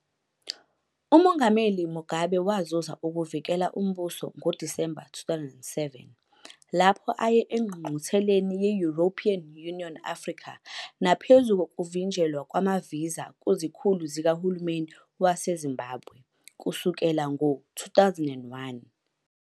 UMongameli Mugabe wazuza ukuvukela umbuso ngoDisemba 2007 lapho aye engqungqutheleni ye-European Union - Africa naphezu kokuvinjelwa kwama-visa kuzikhulu zikahulumeni waseZimbabwe, kusukela ngo-2001.